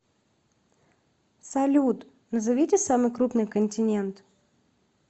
салют назовите самый крупный континент